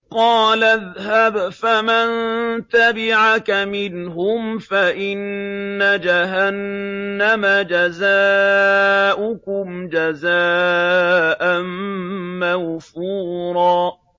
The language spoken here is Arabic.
قَالَ اذْهَبْ فَمَن تَبِعَكَ مِنْهُمْ فَإِنَّ جَهَنَّمَ جَزَاؤُكُمْ جَزَاءً مَّوْفُورًا